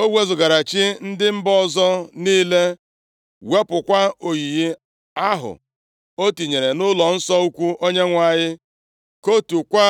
O wezugara chi ndị mba ọzọ niile, wepụkwa oyiyi ahụ o tinyere nʼụlọnsọ ukwu Onyenwe anyị, kụtuokwa